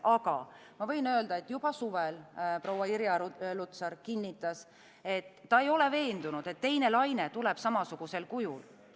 Aga ma võin öelda, et juba suvel proua Irja Lutsar kinnitas, et ta ei ole veendunud, et teine laine tuleb samasugusel kujul.